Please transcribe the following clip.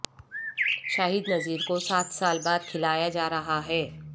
شاہد نذیر کو سات سال بعد کھلایا جا رہا ہے